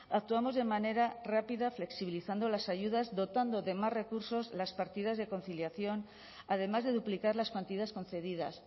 actuamos de manera rápida flexibilizando las ayudas dotando de más recursos las partidas de conciliación además de duplicar las cuantías concedidas